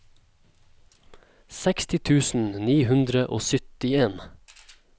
seksti tusen ni hundre og syttien